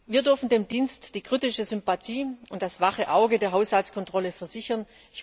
Wir dürfen dem Dienst die kritische Sympathie und das wache Auge der Haushaltskontrolle zusichern.